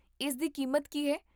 ਇਸ ਦੀ ਕੀਮਤ ਕੀ ਹੈ?